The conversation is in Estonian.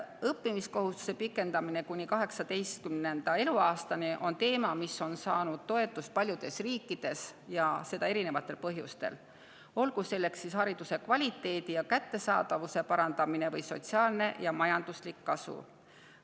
Õppimiskohustuse pikendamine kuni 18. eluaastani on teema, mis on saanud toetust paljudes riikides, ja seda erinevatel põhjustel, olgu selleks siis hariduse kvaliteedi ja kättesaadavuse parandamine või sotsiaalne ja majanduslik kasu.